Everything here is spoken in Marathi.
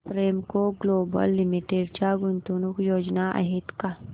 प्रेमको ग्लोबल लिमिटेड च्या गुंतवणूक योजना आहेत का